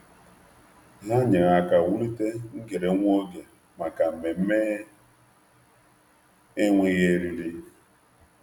Ha nyere aka wulite ngere nwa oge maka mmemme enweghị eriri.